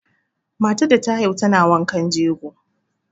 Matar da ta haihu tana wankan jego.